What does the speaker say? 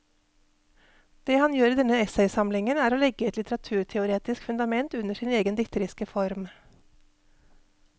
Det han gjør i denne essaysamlingen er å legge et litteraturteoretisk fundament under sin egen dikteriske form.